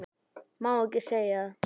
Má ekki segja það?